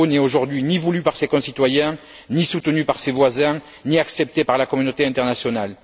Gbagbo n'est aujourd'hui, ni voulu par ses concitoyens, ni soutenu par ses voisins, ni accepté par la communauté internationale.